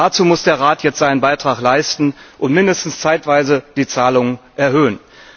Dazu muss der Rat jetzt seinen Beitrag leisten und mindestens zeitweise die Zahlungen erhöhen.